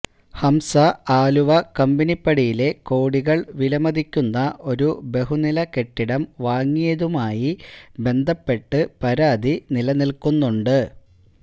ഹംസ ആലുവ കമ്പനിപ്പടിയിലെ കോടികള് വിലമതിക്കുന്ന ഒരു ബഹുനിലക്കെട്ടിടം വാങ്ങിയതുമായി ബന്ധപ്പെട്ട് പരാതി നില നില്ക്കുന്നുണ്ട്